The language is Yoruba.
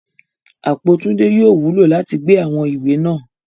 Apo Tunde yóò wulo lati gbe awọn iwe naa